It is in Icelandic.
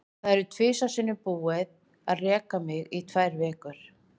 Það var tvisvar sinnum búið að reka mig í tvær vikur.